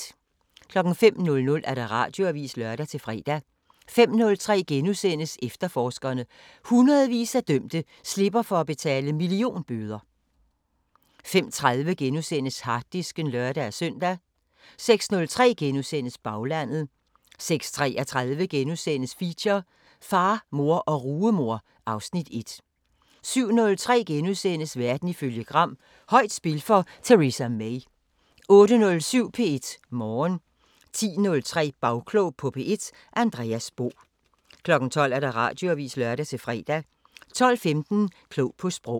05:00: Radioavisen (lør-fre) 05:03: Efterforskerne: Hundredvis af dømte slipper for at betale millionbøder * 05:30: Harddisken *(lør-søn) 06:03: Baglandet * 06:33: Feature: Far, mor og rugemor (Afs. 1)* 07:03: Verden ifølge Gram: Højt spil for Theresa May * 08:07: P1 Morgen 10:03: Bagklog på P1: Andreas Bo 12:00: Radioavisen (lør-fre) 12:15: Klog på Sprog